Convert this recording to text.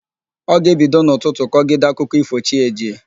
Ọ ga-ebido n'ụtụtụ kọgide akụkọ ífò chi ejiee.